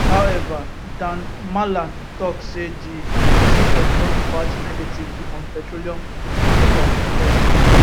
however dan mallam tok say di decision don impact negatively on petroleum marketers because e